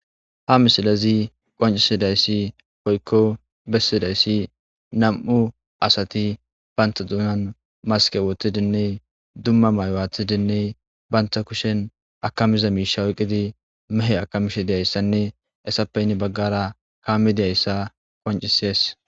Ha misilezi qoncisidayssi poykko bessidayssi nam'u asati banta duunan maske wotidinne dumma maywaathidinne banta kushen akamiza miisha weqqidi mehe akamishe deyayssanne essappeynni baggara kaamidiyayssa qoncisees.